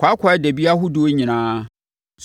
kwaakwaadabi ahodoɔ nyinaa,